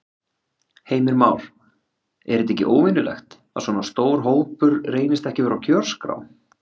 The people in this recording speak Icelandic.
Heimir Már: Er þetta ekki óvenjulegt, að svona stór hópur reynist ekki vera á kjörskrá?